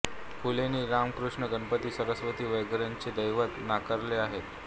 फुलेंनी राम कृष्ण गणपती सरस्वती वगैरेचे देवत्व नाकारलेआहे